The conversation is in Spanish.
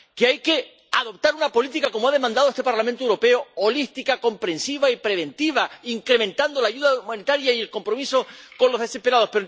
que hay que adoptar una política —como ha demandado este Parlamento Europeo— holística, comprensiva y preventiva, incrementando la ayuda humanitaria y el compromiso con los desesperados.